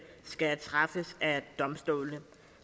skal træffes af domstolene